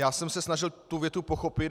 Já jsem se snažil tu větu pochopit.